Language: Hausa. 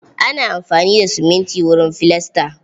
Ana amfani da siminti wurin filasta.